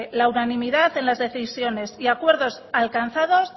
la unanimidad en las decisiones y acuerdos alcanzados